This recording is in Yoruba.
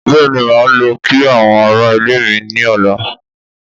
Bẹ́ẹ̀ni máa lọ kí àwọn ará ilé mi ní ọ̀la